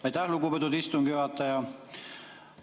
Aitäh, lugupeetud istungi juhataja!